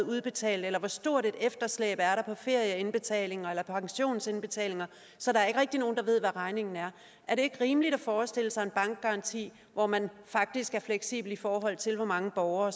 udbetalt eller hvor stort et efterslæb der er på ferieindbetalinger eller pensionsindbetalinger så der er ikke rigtig nogen der ved hvad regningen er er det ikke rimeligt at forestille sig en bankgaranti hvor man faktisk er fleksibel i forhold til hvor mange borgere